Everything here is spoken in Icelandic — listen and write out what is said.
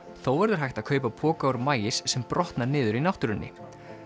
þó verður hægt að kaupa poka úr maís sem brotna niður í náttúrunni